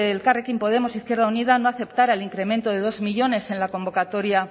elkarrekin podemos izquierda unida no aceptara el incremento de dos millónes en la convocatoria